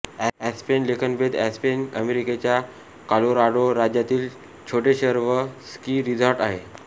aspen लेखनभेदआस्पेन हे अमेरिकेच्या कॉलोराडो राज्यातील छोटे शहर व स्की रिझॉर्ट आहे